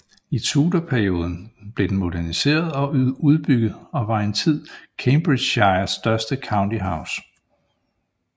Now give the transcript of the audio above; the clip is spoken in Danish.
I tudorperioden blev den moderniseret og udbygget og var en tid Cambridgeshires største county house